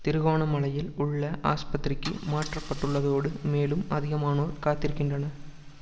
திருகோணமலையில் உள்ள ஆஸ்பத்திரிக்கு மாற்றப்பட்டுள்ளதோடு மேலும் அதிகமானோர் காத்திருக்கின்றனர்